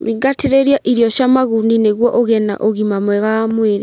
Thingatĩrĩrĩa irio cia maguni nĩguo ũgĩe na ũgima wa mwĩrĩ